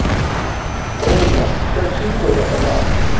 Ónar, hver syngur þetta lag?